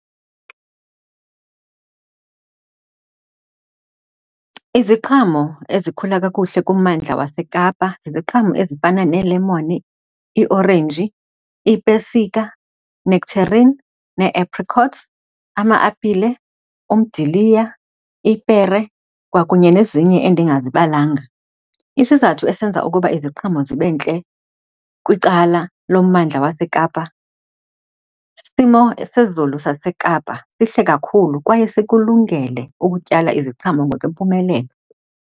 Iziqhamo ezikhula kakuhle kummandla waseKapa ziziqhamo ezifana neelemoni, iiorenji, iipesika, nectarine, nee-apricots, ama-apile, umdiliya, ipere, kwakunye nezinye endingazibalanga. Isizathu esenza ukuba iziqhamo zibe ntle kwicala lommandla waseKapa, isimo sezulu saseKapa sihle kakhulu kwaye sikulungele ukutyala iziqhamo ngokuyimpumelelo.